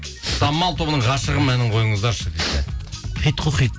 самал тобының ғашығым әнін қойыңыздаршы дейді хит қой хит